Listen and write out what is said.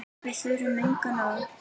Við þurfum engin orð.